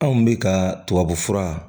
Anw bɛ ka tubabufura